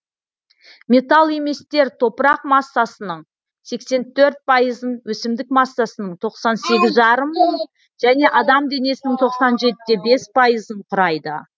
металл еместер топырақ массасының сексен төрт пайызын өсімдік массасының тоқсан сегіз жарым және адам денесінің тоқсан жетте бес пайызын құрайды